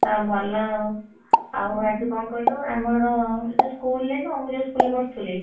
ଆଉ ଭଲ ଆଉ ଆଉ ଆଜି କଣ କହିଲୁ ଆମର ଯୋଉ school ରେ ନୁହଁ ମୁଁ ଯୋଉ school ରେ ପଢୁଥିଲି।